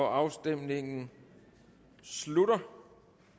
afstemningen slutter